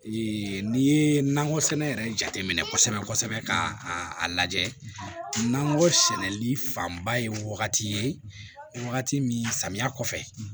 n'i ye nakɔ sɛnɛ yɛrɛ jateminɛ kosɛbɛ kosɛbɛ ka a lajɛ nakɔ sɛnɛli fanba ye wagati ye wagati min samiya kɔfɛ